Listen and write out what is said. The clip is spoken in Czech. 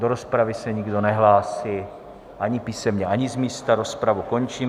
Do rozpravy se nikdo nehlásí ani písemně, ani z místa, rozpravu končím.